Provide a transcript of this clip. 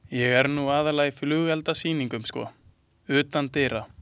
Ég er nú aðallega í flugeldasýningum, sko, utandyra.